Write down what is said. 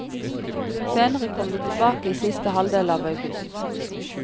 Senere kom vi tilbake i siste halvdel av august.